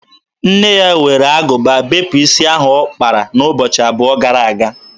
Nne ya were agụba bepụ isi ahụ ọ kpara n'ụbọchị abụọ gara aga.